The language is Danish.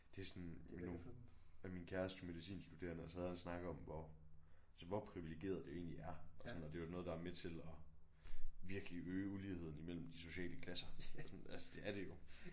Det er sådan ja min kæreste er medicinstuderende og så havde jeg en snak om hvor altså hvor privilegeret det egentlig er og sådan noget og det er jo noget der er med til at virkelig øge uligheden mellem de sociale klasser altså det er det jo